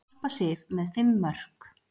Harpa Sif með fimm mörk